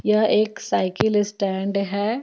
यह एक cycle stand है.